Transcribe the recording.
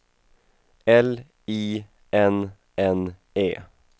L I N N É